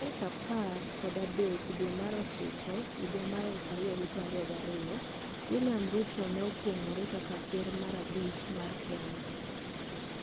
Tarik apar kod adek due mar ochiko higa mar 2022, William Ruto ne okuongore kaka ker mar abich mar Kenya.